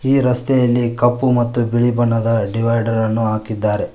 ಈ ರಸ್ತೆಯಲ್ಲಿ ಕಪ್ಪು ಮತ್ತು ಬಿಳಿ ಬಣ್ಣದ ಡಿವೈಡರ್ ಅನ್ನು ಹಾಕಿದ್ದಾರೆ.